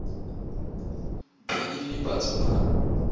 be e le batho ba